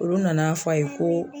Olu nana fɔ a ye ko